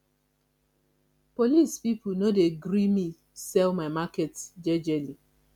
police pipo no dey gree me sell my market jejely